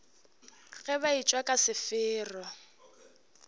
ge ba etšwa ka sefero